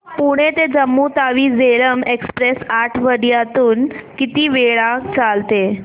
पुणे ते जम्मू तावी झेलम एक्स्प्रेस आठवड्यातून किती वेळा चालते